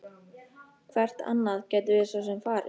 Hvert annað gætum við svo sem farið?